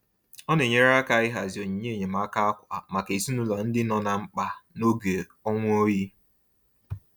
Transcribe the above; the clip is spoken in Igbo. Ọ na-enyere aka ịhazi onyinye enyemaaka ákwà maka ezinụlọ ndị nọ na mkpa n'oge ọnwa oyi.